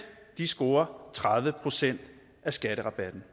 scorer tredive procent af skatterabatten